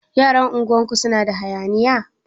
Yaran unguwar ku suna da hayaniya?